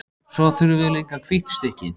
Svo þurfum við líka hvítt stykki.